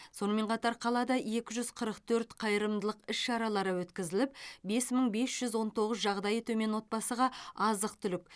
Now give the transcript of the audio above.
сонымен қатар қалада екі жүз қырық төрт қайырымдылық іс шара өткізіліп бес мың бес жүз он тоғыз жағдайы төмен отбасыға азық түлік